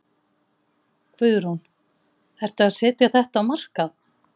Guðrún: Ertu að setja þetta á markað?